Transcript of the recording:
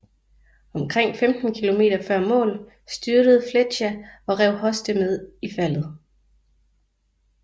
Omkring 15 km før mål styrtede Flecha og rev Hoste med i faldet